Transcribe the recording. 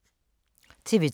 TV 2